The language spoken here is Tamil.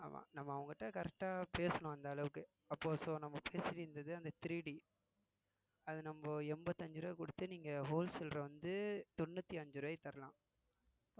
ஆமா நம்ம அவங்க கிட்ட correct ஆ பேசணும் அந்த அளவுக்கு அப்போ so நம்ம பேசிட்டு இருந்தது அந்த three D அது நம்ம எண்பத்தி அஞ்சு ரூபாய் கொடுத்து நீங்க wholesaler அ வந்து தொண்ணூத்தி அஞ்சு ரூவாய்க்கு தரலாம்